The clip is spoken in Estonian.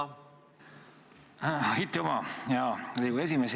Aitüma, hea Riigikogu esimees!